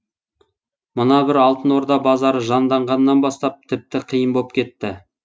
мына бір алтын орда базары жанданғаннан бастап тіпті қиын боп кетті